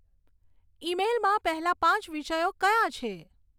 ઈમેઈલમાં પહેલાં પાંચ વિષયો કયાં છે